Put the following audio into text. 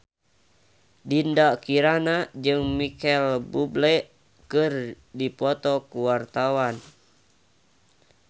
Dinda Kirana jeung Micheal Bubble keur dipoto ku wartawan